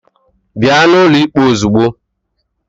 Bịa n'ụlọ ikpe ozugbo!